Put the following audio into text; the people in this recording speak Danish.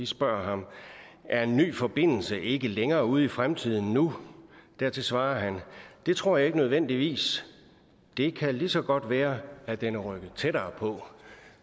spørger ham er en ny forbindelse ikke længere ude i fremtiden nu dertil svarer han det tror jeg ikke nødvendigvis det kan lige så godt være at den er rykket tættere på